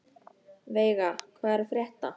Veiga, hvað er að frétta?